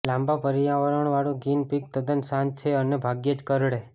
લાંબા પળિયાવાળું guinea pig તદ્દન શાંત છે અને ભાગ્યે જ કરડે